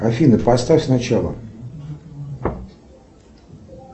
афина поставь сначала